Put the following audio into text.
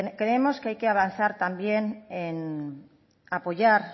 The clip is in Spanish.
creemos que hay que avanzar también en apoyar